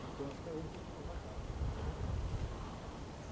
Porque eu acho que a gente tem que mostrar a cara, sabe. Uhum